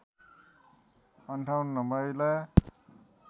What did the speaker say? ५८ महिला